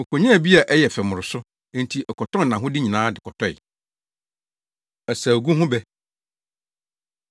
Okonyaa bi a ɛyɛ fɛ mmoroso, enti ɔkɔtɔn nʼahode nyinaa de kɔtɔe!” Asaugu Ho Bɛ